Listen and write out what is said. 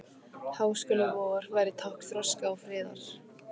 Háskóli vor væri tákn þroska og friðar.